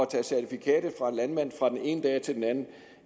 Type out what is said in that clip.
tage certifikatet fra en landmand fra den ene dag til den anden